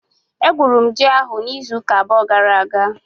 Egwuru m ji ahụ n'izu ụka abụọ gara aga.